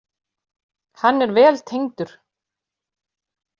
Hann er vel tengdur.